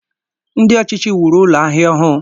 Ndị ọchịchị wuru Ụlọ ahịa ọhụụ